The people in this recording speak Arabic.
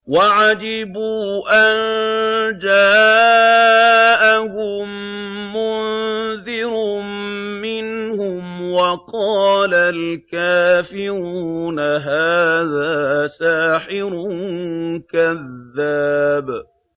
وَعَجِبُوا أَن جَاءَهُم مُّنذِرٌ مِّنْهُمْ ۖ وَقَالَ الْكَافِرُونَ هَٰذَا سَاحِرٌ كَذَّابٌ